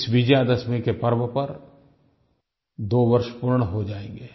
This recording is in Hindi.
इस विजयादशमी के पर्व पर 2 वर्ष पूर्ण हो जाएँगे